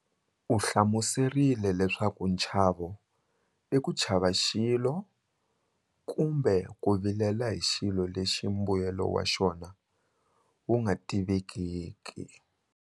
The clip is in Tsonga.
U hlamuserile leswaku nchavo i ku chava xilo kumbe ku vilela hi xilo lexi mbuyelo wa xona wu nga tivekiki.